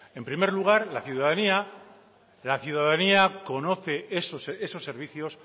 en primer lugar la ciudadanía conoce esos servicios